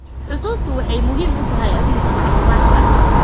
Xusuustu waxay muhiim u tahay amniga macluumaadka.